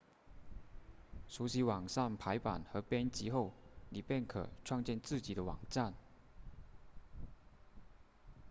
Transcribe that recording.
熟悉网上排版和编辑后你便可创建自己的网站